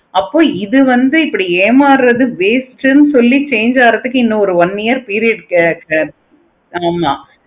அப்போ இது வந்து இப்படி ஏமாறுவது waste ன்னு சொல்லி change ஆகுறதுக்கு இன்னு one week period இருக்கு. ஆமா அப்போ